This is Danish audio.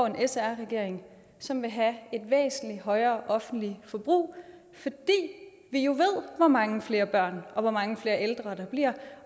sr regering som vil have et væsentlig højere offentligt forbrug fordi vi jo ved hvor mange flere børn og hvor mange flere ældre der bliver